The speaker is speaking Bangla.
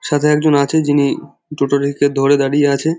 সাথে একজন আছে যিনি টোটো ইকে ধরে দাঁড়িয়ে আছে।